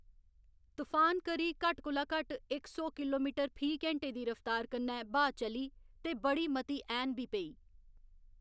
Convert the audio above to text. तुफान करी घट्ट कोला घट्ट इक सौ किलोमीटर फी घैंटे दी रफ्तार कन्नै ब्हाऽ चली ते बड़ी मती ऐह्‌न बी पेई।